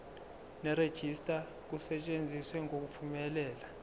nerejista kusetshenziswe ngokuphumelela